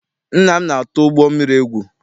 Nna m na-atụ ụgbọ mmiri egwu.